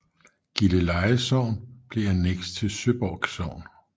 Gilleleje Sogn blev anneks til Søborg Sogn